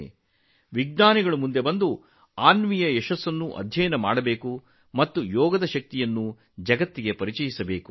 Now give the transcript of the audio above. ಅಂತಹ ವಿಜ್ಞಾನಿಗಳು ಅನ್ವಿಯ ಯಶಸ್ಸಿನ ಆಧಾರದ ಮೇಲೆ ಅಧ್ಯಯನಗಳಿಗೆ ಮುಂದಾಗಬೇಕು ಮತ್ತು ಯೋಗದ ಶಕ್ತಿಯನ್ನು ಜಗತ್ತಿಗೆ ಪರಿಚಯಿಸಬೇಕು